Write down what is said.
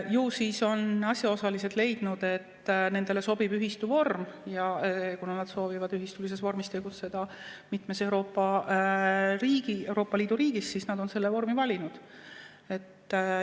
Ju siis on asjaosalised leidnud, et nendele sobib ühistu vorm, ja kuna nad soovivad ühistulises vormis tegutseda mitmes Euroopa Liidu riigis, siis nad on selle vormi valinud.